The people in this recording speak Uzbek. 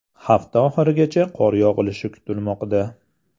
Hafta oxirigacha qor yog‘ishi kutilmoqda .